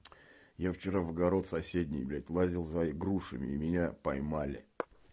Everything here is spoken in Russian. я вчера в огород соседней блять лазил за и грушами и меня поймали